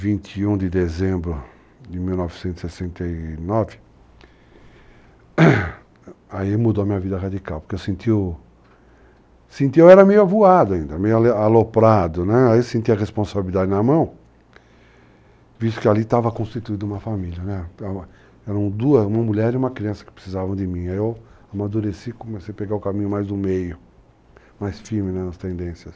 dia 21 de dezembro de 1969, aí mudou a minha vida radical, porque eu senti, eu era meio avoado ainda, meio aloprado, né, aí eu senti a responsabilidade na mão, visto que ali estava constituída uma família, né, eram duas, uma mulher e uma criança que precisavam de mim, aí eu amadureci e comecei a pegar o caminho mais do meio, mais firme, né, nas tendências.